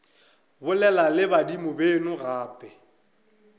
bolela le badimo beno gape